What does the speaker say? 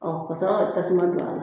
Ɔ kasɔrɔ ka tasuma don a la